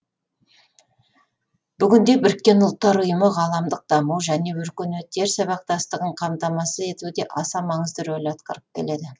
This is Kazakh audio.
бүгінде біріккен ұлттар ұйымы ғаламдық даму және өркениеттер сабақтастығын қамтамасыз етуде аса маңызды рөл атқарып келеді